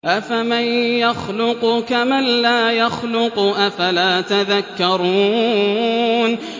أَفَمَن يَخْلُقُ كَمَن لَّا يَخْلُقُ ۗ أَفَلَا تَذَكَّرُونَ